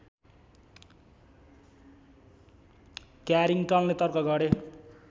क्यारिङ्गटनले तर्क गरे